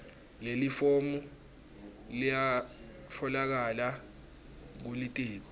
lelifomu liyatfolakala kulitiko